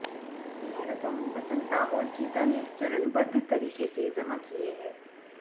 यह रकम वसंता और गीता ने चरणबद्ध तरीके से जमा किये हैं